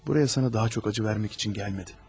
Buraya sənə daha çox ağrı vermək üçün gəlmədim.